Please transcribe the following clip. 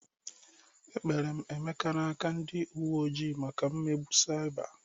Ekpere m Emeka n'aka ndị uwe ojii maka mmegbu saịba.